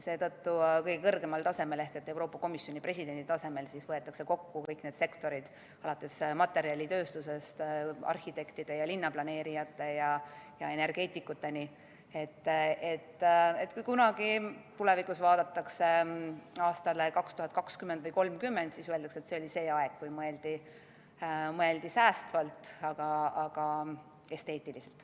Seetõttu võetakse kõige kõrgemal tasemel ehk Euroopa Komisjoni presidendi tasemel kokku kõik need sektorid, alates materjalitööstusest kuni arhitektide, linnaplaneerijate ja energeetikuteni, et kui kunagi tulevikus vaadatakse tagasi aastale 2020 või 2030, siis öeldakse: see oli see aeg, kui mõeldi säästvalt, aga esteetiliselt.